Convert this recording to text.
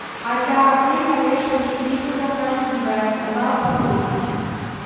хотя ты конечно действительно красивая сказал папулька